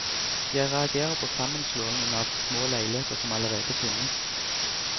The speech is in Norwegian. Jeg reagerer på sammenslåingen av små leiligheter som allerede finnes.